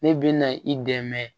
Ne bɛ na i dɛmɛ